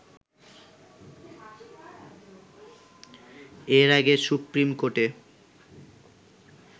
এর আগে সুপ্রিমকোর্টে